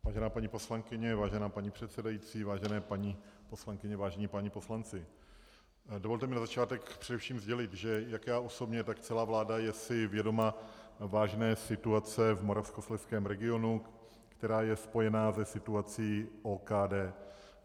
Vážená paní poslankyně, vážená paní předsedající, vážené paní poslankyně, vážení páni poslanci, dovolte mi na začátek především sdělit, že jak já osobně, tak celá vláda je si vědoma vážné situace v moravskoslezském regionu, která je spojena se situací OKD.